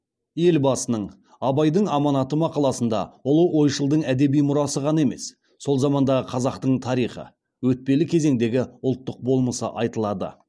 елбасының абайдың аманаты мақаласында ұлы ойшылдың әдеби мұрасы ғана емес сол замандағы қазақтың тарихы өтпелі кезеңдегі ұлттық болмысы айтылады